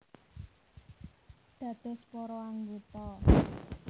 Dados para anggota